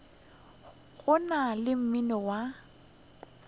go na le mmino wa